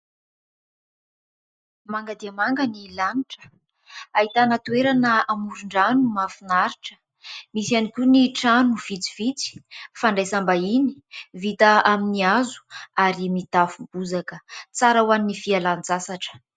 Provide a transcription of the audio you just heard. Manga dia manga ny lanitra, ahitana toerana amoron-drano mahafinaritra. Misy ihany koa ny trano vitsivitsy fandraisam-bahiny vita amin'ny hazo ary mitafo bozaka ;tsara ho an'ny fialan-tsasatra.